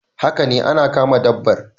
Haka ne ana kama dabbar